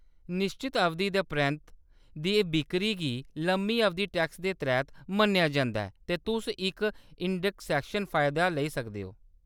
निश्चत अवधि दे परैंत्त दी बिक्करी गी लम्मी-अवधि टैक्स दे तैह्‌‌‌त मन्नेआ जंदा ऐ ते तुस इक इंडैक्सेशन फायदा लेई सकदे ओ।